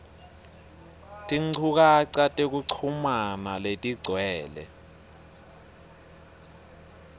tinchukaca tekuchumana letigcwele